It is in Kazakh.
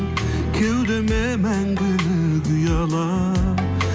кеудеме мәңгілік ұялап